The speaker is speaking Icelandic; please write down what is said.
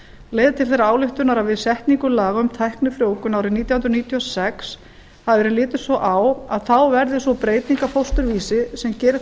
leiðir til þeirrar ályktunar að við setningu laga um tæknifrjóvgun árið nítján hundruð níutíu og sex hafi verið litið svo á að þá verði sú breyting á fósturvísi sem geri